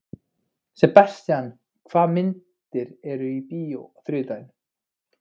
Sebastian, hvaða myndir eru í bíó á þriðjudaginn?